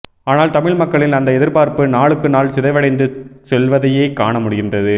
ஆனால் தமிழ் மக்களின் அந்த எதிர்பார்ப்பு நாளுக்கு நாள் சிதைவடைந்து செல்வதையே காண முடிகின்றது